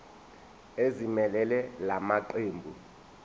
ezimelele la maqembu